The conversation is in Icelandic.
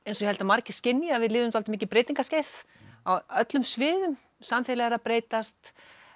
held að margir skynji að við lifum svolítið mikið breytingarskeið á öllum sviðum samfélagið er að breytast